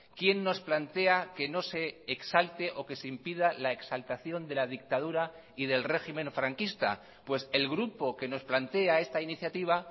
quién nos plantea que no se exalte o que se impida la exaltación de la dictadura y del régimen franquista pues el grupo que nos plantea esta iniciativa